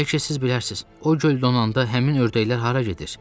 Bəlkə siz bilərsiz, o göl donanda həmin ördəklər hara gedir?